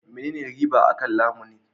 Menene riba akan lamuni?